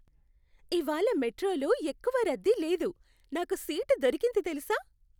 ఇవాళ్ళ మెట్రోలో ఎక్కువ రద్దీ లేదు, నాకు సీటు దొరికింది తెలుసా?